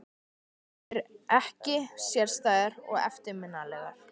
Voru þær ekki sérstæðar og eftirminnilegar?